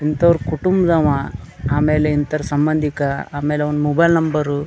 ಇಂತವರ ಕುಟುಂಬದವ ಆಮೇಲೆ ಇಂತವರ ಸಂಬದಿಕ ಆಮೇಲೆ ಅವ್ನ ಮೊಬೈಲ್ ನಂಬರು --